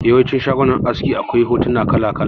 Yawancin shagunan aski akwai hotuna kala kala